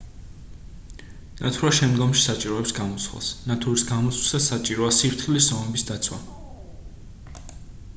ნათურა შემდგომში საჭიროებს გამოცვლას ნათურის გამოცვლისას საჭიროა სიფრთხილის ზომების დაცვა